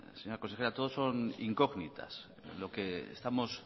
señora consejera todos son incógnitas lo que estamos